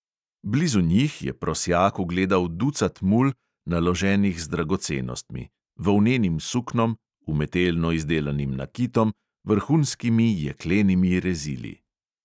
Blizu njih je prosjak ugledal ducat mul, naloženih z dragocenostmi: volnenim suknom, umetelno izdelanim nakitom, vrhunskimi jeklenimi rezili.